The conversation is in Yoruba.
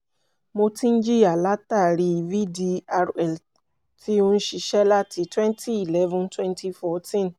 mo ti ń jìyà látàrí vdrl tí ó ń ṣiṣẹ́ láti twenty eleven twenty fourteen